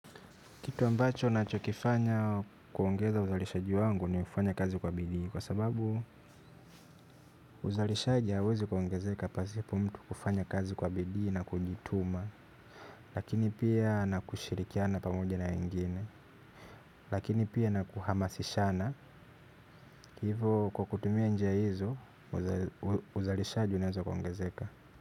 Kitu ambacho nachokifanya kuongeza uzalishaji wangu ni kufanya kazi kwa bidii kwa sababu uzalishaji hauwezi kuongezeka pasipo mtu kufanya kazi kwa bidii na kujituma. Lakini pia na kushirikiana pamoja na wengine. Lakini pia na kuhamasishana hivo kwa kutumia njia hizo uzalishaji unaweza kuongezeka.